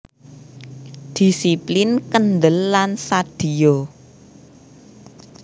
Dhisiplin kendel lan sadhiya